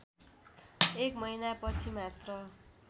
एक महिनापछि मात्र